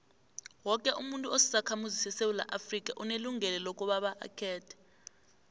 woke umuntu osisakhamuzi sesewula afrika unelungelo lokobaba akhethe